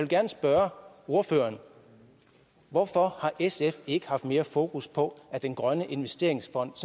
gerne spørge ordføreren hvorfor har sf ikke haft mere fokus på at den grønne investeringsfond